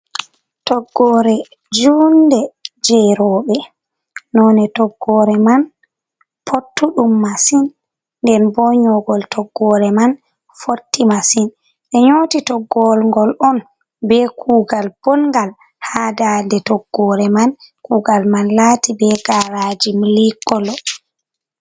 Toggore juunɗe je robe. None toggore man pottuɗum masin. Nder bo nyogol toggore man fotti masin. Be nyoti toggolgol on be kugal bongal. ha ɗaɗe toggore man kugal man lati be garaji milikolo.